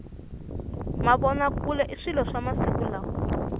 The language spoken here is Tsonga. mavona kule i swilo swa masiku lawa